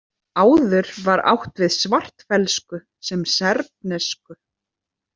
Áður var átt við svartfellsku sem serbnesku.